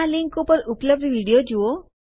આ લીંક ઉપર ઉપલબ્ધ વિડીઓ જુઓ